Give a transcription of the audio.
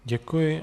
Děkuji.